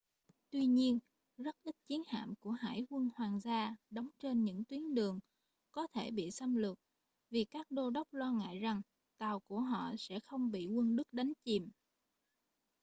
tuy nhiên rất ít chiến hạm của hải quân hoàng gia đóng trên những tuyến đường có thể bị xâm lược vì các đô đốc lo ngại rằng tàu của họ sẽ bị không quân đức đánh chìm